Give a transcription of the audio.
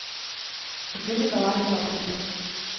Selvfølgelig drejer det sig om at vinde.